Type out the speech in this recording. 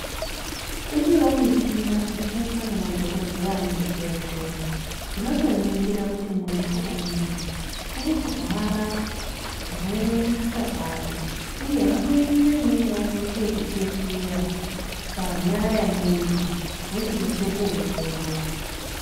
Iriyo michina inoshandiswa ngemadhokodheya muzvibhedhlera. Inotoningira kuti munthu uyu, urikurwara zvakanyanye kusvika pari, uye vanoise imweni yacho vanoite yekupfekera panyara yemuntu wochinase kuwongorora.